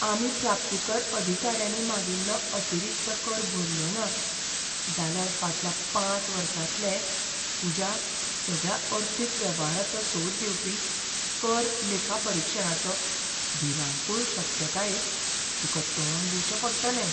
आमी प्राप्तीकर अधिकाऱ्यांनी मागिल्लो अतिरिक्त कर भरलोना, जाल्यार फाटल्या पांच वर्सांतले तुज्या सगळ्या अर्थीक वेव्हाराचो सोद घेवपी कर लेखापरीक्षणाचे भिरांकूळ शक्यतायेक तुका तोंड दिवचें पडटलें.